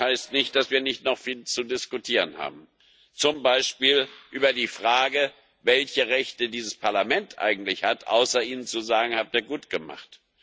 Aber das heißt nicht, dass wir nicht noch viel zu diskutieren haben, zum Beispiel über die Frage, welche Rechte dieses Parlament eigentlich hat, außer Ihnen zu sagen Das habt Ihr gut gemacht.